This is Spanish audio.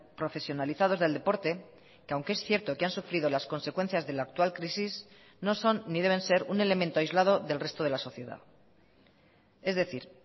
profesionalizados del deporte que aunque es cierto que han sufrido las consecuencias de la actual crisis no son ni deben ser un elemento aislado del resto de la sociedad es decir